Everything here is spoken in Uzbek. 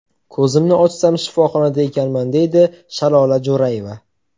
Ko‘zimni ochsam, shifoxonada ekanman”, deydi Shalola Jo‘rayeva.